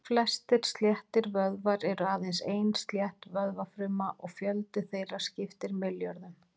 Flestir sléttir vöðvar eru aðeins ein slétt vöðvafruma og fjöldi þeirra skiptir milljörðum.